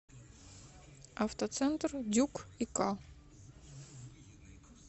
автоцентр дюк и к